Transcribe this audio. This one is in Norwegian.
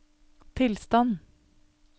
tilstand